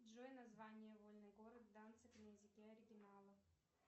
джой название вольный город данциг на языке оригинала